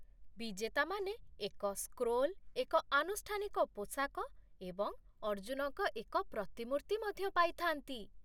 ବିଜେତାମାନେ ଏକ ସ୍କ୍ରୋଲ୍, ଏକ ଆନୁଷ୍ଠାନିକ ପୋଷାକ ଏବଂ ଅର୍ଜୁନଙ୍କ ଏକ ପ୍ରତିମୂର୍ତ୍ତି ମଧ୍ୟ ପାଇଥା'ନ୍ତି।